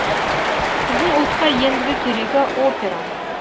біздің ұлтқа ендігі керегі опера